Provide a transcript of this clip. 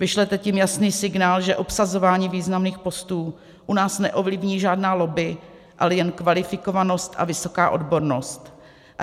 Vyšlete tím jasný signál, že obsazování významných postů u nás neovlivní žádná lobby, ale jen kvalifikovanost a vysoká odbornost.